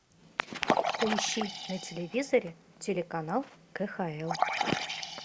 поищи на телевизоре телеканал кхл